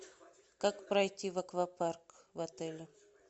как пройти в аквапарк в отеле